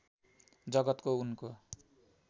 जगतको उनको